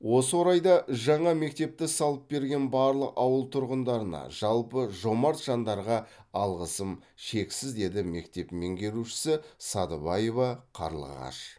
осы орайда жаңа мектепті салып береген барлық ауыл тұрғындарына жалпы жомарт жандарға алғысым шексіз деді мектеп меңгерушісі садыбаева қарлығаш